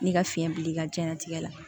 N'i ka fiɲɛ bil'i ka diɲɛnatigɛ la